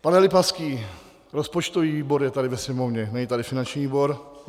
Pane Lipavský, rozpočtový výbor je tady ve Sněmovně, není tady finanční výbor.